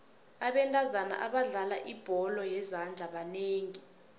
abentazana abadlala ibholo yezandla banengi